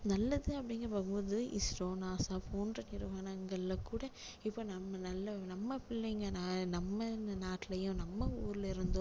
நல்லது அப்படின்னு பாக்கும் போது isro NASA போன்ற நிறுவனங்களில கூட இப்போ நம்ம நல்ல நம்ம பிள்ளைங்க ந~நம்ம நாட்டுலையும் நம்ம ஊர்ல இருந்தும்